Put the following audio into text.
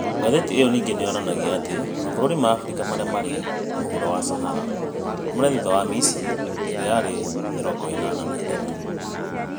Ngathĩti ĩyo ningĩ nĩ yonanagia atĩ mabũrũri ma Afrika marĩa marĩ mũhuro wa Sahara, marĩ thutha wa Misiri, ĩrĩa yarĩ ya mĩrongo ĩnana na ĩthathatũ.